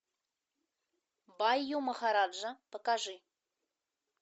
байу махараджа покажи